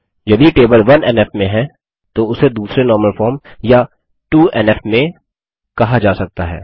यदि टेबल 1एनएफ में है तो उसे दूसरे नॉर्मल फॉर्म या 2एनएफ में कहा जा सकता है